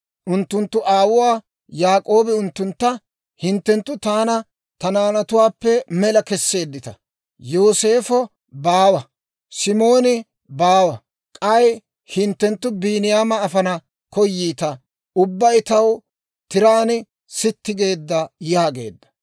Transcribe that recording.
Unttunttu aawuwaa Yaak'oobi unttuntta, «hinttenttu taana ta naanatuwaappe mela kesseeddita; Yooseefo baawa, Simooni baawa; k'ay hinttenttu Biiniyaama afana koyiita. Ubbabay taw tiraan sitti geedda» yaageedda.